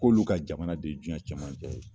K'olu ka jamana de ye jiɲɛ cɛmancɛ ye.